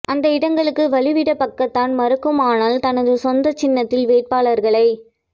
அந்த இடங்களுக்கு வழி விட பக்காத்தான் மறுக்குமானால் தனது சொந்த சின்னத்தில் வேட்பாளர்களை